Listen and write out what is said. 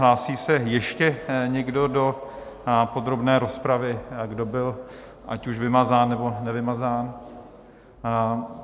Hlásí se ještě někdo do podrobné rozpravy, kdo byl ať už vymazán, nebo nevymazán?